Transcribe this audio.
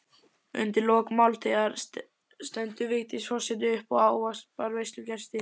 Undir lok máltíðar stendur Vigdís forseti upp og ávarpar veislugesti.